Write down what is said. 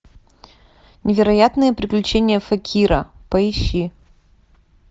невероятные приключения факира поищи